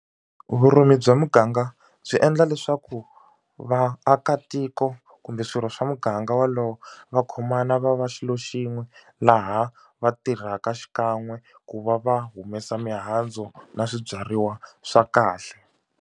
Vurimi bya muganga byi endla leswaku vaakatiko kumbe swirho swa muganga wolowo va khomana va va xilo xin'we laha va tirhaka xikan'we ku va va humesa mihandzu na swibyariwa swa kahle.